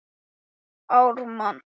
sögðum við og hlógum enn meira.